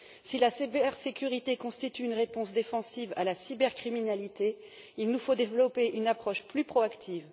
Si la cybersécurité constitue une réponse défensive à la cybercriminalité, il nous faut développer une approche plus proactive.